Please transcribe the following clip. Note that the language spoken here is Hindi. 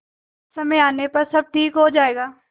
समय आने पर सब ठीक हो जाएगा